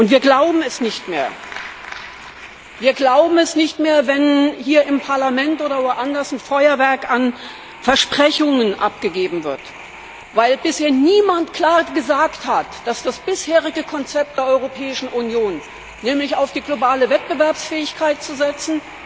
Wir glauben es nicht mehr, wenn hier im Parlament oder woanders ein Feuerwerk an Versprechungen abgegeben wird, weil bisher niemand klar gesagt hat, dass das bisherige Konzept der Europäischen Union, nämlich auf die globale Wettbewerbsfähigkeit zu setzen,